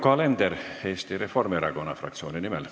Yoko Alender Eesti Reformierakonna fraktsiooni nimel.